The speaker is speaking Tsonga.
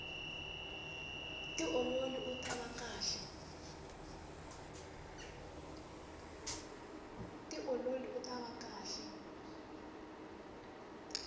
tiololi utava kahle